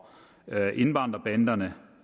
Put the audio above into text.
indvandrerbanderne